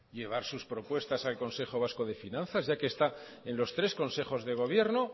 llevar sus propuestas al consejo vasco de finanzas ya que está en los tres consejos de gobierno